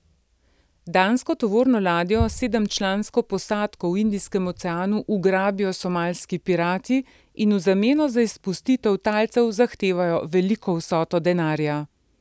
Dansko tovorno ladjo s sedemčlansko posadko v Indijskem oceanu ugrabijo somalski pirati in v zameno za izpustitev talcev zahtevajo veliko vsoto denarja.